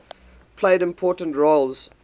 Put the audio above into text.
played important roles